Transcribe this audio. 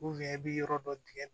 i bɛ yɔrɔ dɔ tigɛ